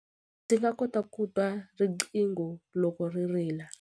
Ndzi kota ku twa riqingho loko ri rila.